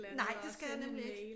Nej det skal jeg nemlig ikke